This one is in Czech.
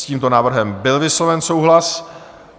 S tímto návrhem byl vysloven souhlas.